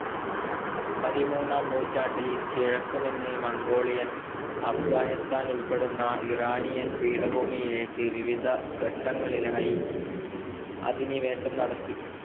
പതിമൂന്നാം നൂറ്റാണ്ടിൽ കിഴക്കു നിന്ന് മംഗോളിയർ അഫ്ഗാനിസ്താൻ ഉൾപ്പെടുന്ന ഇറാനിയൻ പീഠഭൂമിയിലേക്ക് വിവിധ ഘട്ടങ്ങളിലായി അധിനിവേശം നടത്തി.